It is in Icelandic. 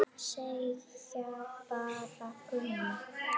Segja bara Gugga.